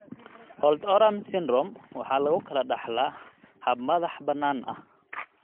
Holt Oram Syndrome (HOS) waxa lagu kala dhaxlaa hab madax-bannaani ah.